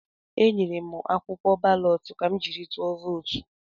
Enyere m akwụkwọ balọt ka m jiri tụọ vootu.